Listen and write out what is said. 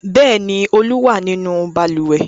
Bẹ́ẹ̀ ni, Olú wà nínú balùwẹ̀.